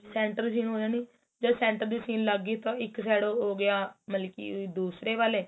center ਜੇ ਹੋਇਆ ਨੀ ਜਦ center ਦੀ machine ਲੱਗ ਗੀ ਤਾਂ ਇੱਕ side ਉਹ ਹੋ ਗਿਆ ਮਤਲਬ ਕੀ ਦੂਸਰੇ ਵਾਲੇ